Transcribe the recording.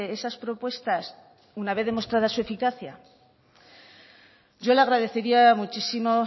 esas propuestas una vez demostrada su eficacia yo le agradecería muchísimo